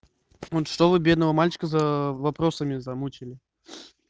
он что вы бедного мальчика за вопросами замучили